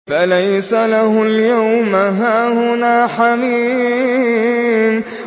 فَلَيْسَ لَهُ الْيَوْمَ هَاهُنَا حَمِيمٌ